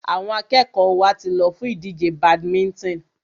Àwọn akẹ́kọ̀ọ́ wa ti lọ fún ìdíje badminton.